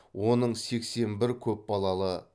оның сексен бір көпбалалы